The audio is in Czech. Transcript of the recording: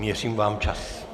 Měřím vám čas.